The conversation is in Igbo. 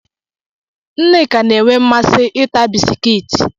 Nneka na-enwe mmasị ịta bisikiiti.